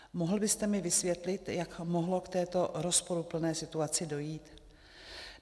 Mohl byste mi vysvětlit, jak mohlo k této rozporuplné situaci dojít?